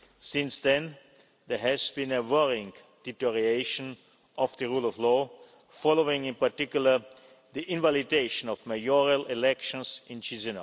February. Since then, there has been a worrying deterioration in the rule of law following in particular the invalidation of mayoral elections